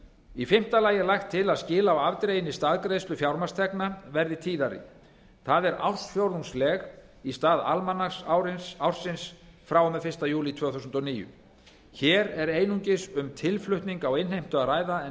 í fimmta lagi er lagt til að skil á afdreginni staðgreiðslu fjármagnstekna verði tíðari það er ársfjórðungsleg í stað almanaksársins frá og með fyrsta júlí tvö þúsund og níu hér er einungis um tilflutning í innheimtu að ræða en